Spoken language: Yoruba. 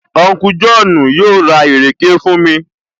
Unku Jọ́ọ̀nù yóò ra ìrèké fún mi